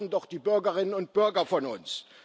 Das erwarten doch die Bürgerinnen und Bürger von uns.